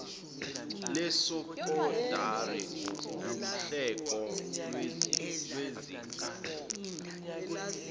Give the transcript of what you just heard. lesekondari nguhlelo lwezinga